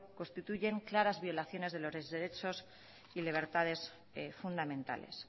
constituyen claras violaciones de los derechos y libertades fundamentales